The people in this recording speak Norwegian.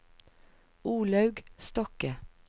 Olaug Stokke